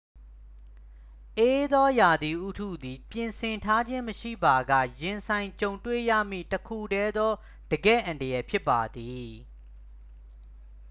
အေးသောရာသီဥတုသည် ပြင်ဆင်ထားခြင်းမရှိပါက ရင်ဆိုင်ကြုံတွေ့ရမည့် တစ်ခုတည်းသော တကယ့်အန္တရာယ်ဖြစ်ပါသည်